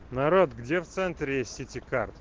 народ где в центре сити карт